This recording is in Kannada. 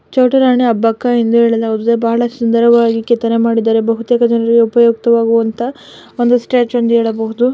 ಛೋಟು ರಾಣಿ ಅಬ್ಬಕ್ಕ ಎಂದು ಬಹಳ ಸುಂದರವಾಗಿ-- ಬಹಳ ಸುಂದರವಾಗಿ ಕೆತ್ತನೆ ಮಾಡಿದ್ದಾರೆ ಬಹುತೇಲ್ ಜನರಿಗೆ ಉಪಯುಕ್ತ ವಾಗುವಂತ ಸ್ಟ್ಯಾಚು.